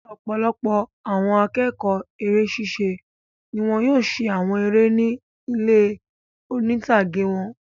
Ọ̀pọlọpọ̀ àwọn akẹ́kọ̀ọ́ eré ṣiṣẹ́ ni wọ́n yóò ṣe àwọn eré ni ilé oní-ìtàgé wọn.